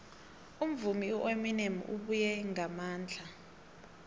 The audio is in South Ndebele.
umvumi ueminem ubuye ngamandla